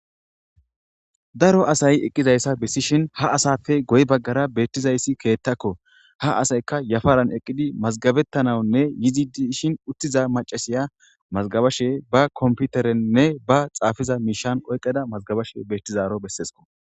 Daro eqiza issa besishshenni haa asappe guye bagara betiza issi ketakko .haa asayikka yafaranni eqiddi mazigabetanawunine yidi dishshin utiza macasiya mazagabashe ba kompiterenne ba xafida mishan mazagabashe dizaro beeses.